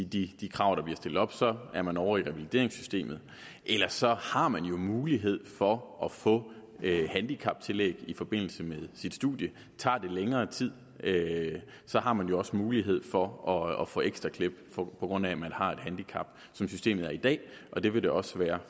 de krav der bliver stillet op er man ovre i revalideringssystemet ellers har man jo mulighed for at få handicaptillæg i forbindelse med sit studie tager det længere tid har man også mulighed for at få ekstra klip på grund af at man har et handicap som systemet er i dag og det vil det også være